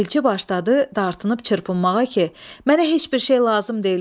Elçi başladı dartınıb çırpınmağa ki, mənə heç bir şey lazım deyil.